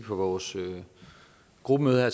olsen og